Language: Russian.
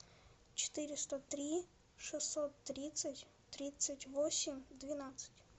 четыреста три шестьсот тридцать тридцать восемь двенадцать